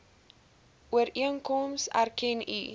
ooreenkoms erken u